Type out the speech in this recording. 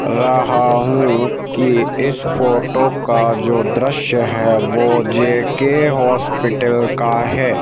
रहा हूँ कि इस फोटो का जो दृश्य है वह जे_के हॉस्पिटल का है।